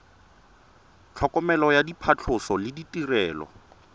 tlhokomelo ya phatlhoso le ditirelo